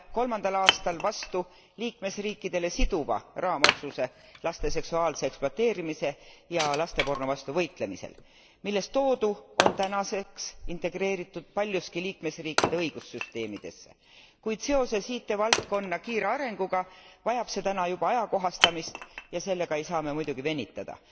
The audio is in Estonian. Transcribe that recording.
aastal vastu liikmesriikidele siduva raamotsuse laste seksuaalse ekspluateerimise ja lasteporno vastu võitlemisel, milles toodu on tänaseks integreeritud paljuski liikmesriikide õigussüsteemidesse, kuid seoses IT valdkonna kiire arenguga vajab see täna juba ajakohastamist ja sellega ei saa me muidugi venitada.